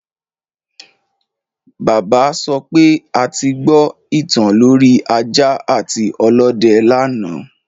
Bàbá sọ pé a ti gbọ ìtàn lorí ajá àti ọlọ́dẹ lánàá